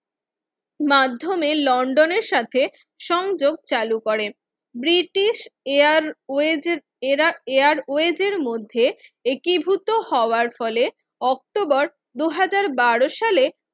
মাধ্যমে লন্ডনের সাথে সংযোগ চালু করেন ব্রিটিশ এয়ার ওয়েসের এয়ার ওয়েসের এর মধ্যে একীভূত হওয়ার ফলে অক্টোবর দুই হাজার বারো সালে